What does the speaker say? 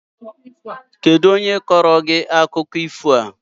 Kedụ onye kọọrọ gị akụkọ ifo a?